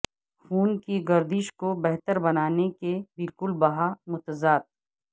خون کی گردش کو بہتر بنانے کے بالکل بہا متضاد